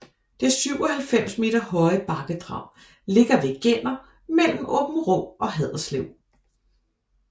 Det 97 meter høje bakkedrag ligger ved Genner mellem Aabenraa og Haderslev